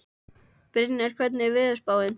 Brynjar, hvernig er veðurspáin?